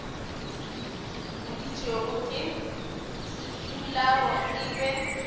boditšwego ke sefularo e be